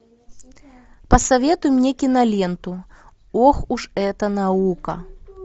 посоветуй мне киноленту ох уж эта наука